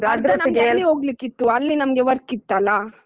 ಅರ್ಧ ನಮ್ಗೆ ಅಲ್ಲಿ ಹೋಗ್ಲಿಕಿತ್ತು ಅಲ್ಲಿ ನಮ್ಗೆ work ಇತ್ತಲ್ಲಾ?